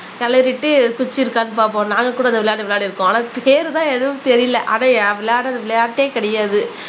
கிளறிட்டு குச்சி இருக்கான்னு பாப்போம் நாங்க கூட இந்த விளையாட்டு விளையாடி இருக்கோம் ஆனா அதுக்கு பேருதான் எதுவும் தெரியல அதை விளையாடுற விளையாட்டே கிடையாது